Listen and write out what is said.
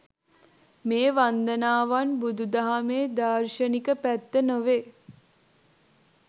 මේ වන්දනාවන් බුදු දහමේ දාර්ශනික පැත්ත නොවේ.